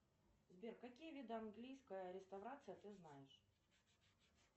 сбер какие виды английской реставрации ты знаешь